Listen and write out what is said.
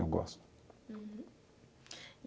Eu gosto. Uhum.